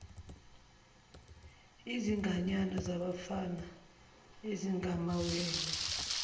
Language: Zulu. izinganyana zabafana ezingamawele